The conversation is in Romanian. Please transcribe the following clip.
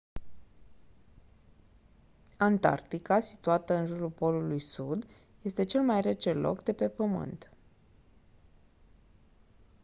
antarctica situată în jurul polului sud este cel mai rece loc de pe pământ